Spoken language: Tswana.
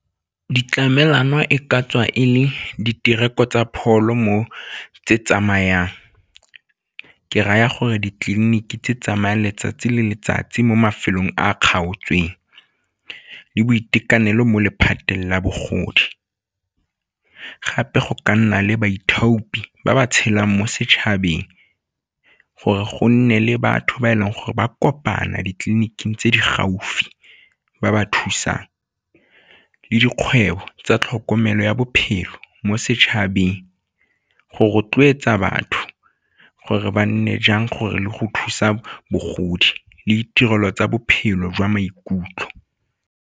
Ditlamelwana e ka tswa e le ditirelo tsa pholo mo tse tsamayang, ke raya gore ditleliniki tse tsamayang letsatsi le letsatsi mo mafelong a a kgaotseng le boitekanelo mo lephateng la bogodi. Gape go ka nna le baithuti ba ba tshelang mo setšhabeng gore go nne le batho ba e leng gore ba kopana ditleliniking tse di gaufi ba ba thusang le dikgwebo tsa tlhokomelo ya bophelo mo setšhabeng go rotloetsa batho gore ba nne jang gore le go thusa bogodi le tirelo tsa bophelo jwa maikutlo.